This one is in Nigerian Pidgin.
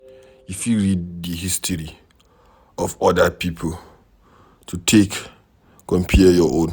You fit read di history of oda pipo to take compare your own